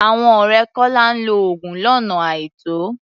Àwọn ọ̀rẹ́ Kọ́lá ń lo oògùn lọ́nà àìtọ́.